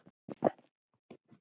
Hans beið erfið ganga.